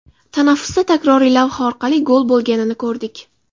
Tanaffusda takroriy lavha orqali gol bo‘lganini ko‘rdik.